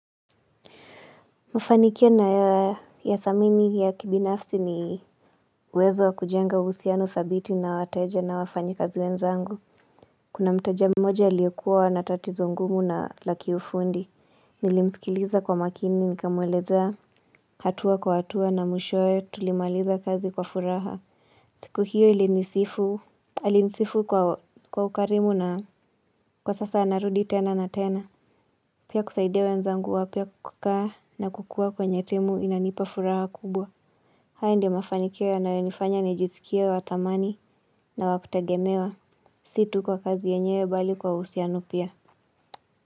Mufanikia naya thamini yakibinafsi ni uwezo wa kujenga uhusiano dhabiti na wateja na wafanyakazi wenzangu Kuna mteja mmoja aliyekuwa na tatizo ngumu na la kiufundi. Nilimsikiliza kwa makini nikamwelezea. Hatua kwa hatua na mwishoe tulimaliza kazi kwa furaha. Siku hiyo alinisifu kwa ukarimu na kwa sasa anarudi tena na tena. Pia kusaidia wenzangu wa pia kukaa na kukua kwenye timu inanipa furaha kubwa. Hayo ndio mafanikio yanayonifanya nijisikie wa thamani na wa kutagemewa. Si tu kwa kazi yenyewe bali kwa uhusiano pia.